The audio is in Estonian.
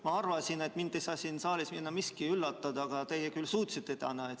Ma arvasin, et mind ei saa siin saalis enam miski üllatada, aga teie küll täna seda suutsite.